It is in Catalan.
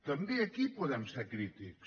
també aquí podem ser crítics